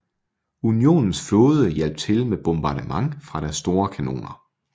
Unionens flåde hjalp til med bombardement fra deres store kanoner